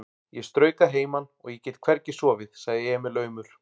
Ég strauk að heiman og ég get hvergi sofið, sagði Emil aumur.